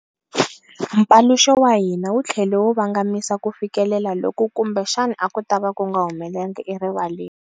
Mpaluxo wa hina wu tlhele wu vangamisa kufikelela loku kumbexana a ku tava ku nga humelanga erivaleni.